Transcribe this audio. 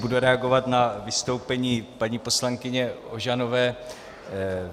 Budu reagovat na vystoupení paní poslankyně Ožanové.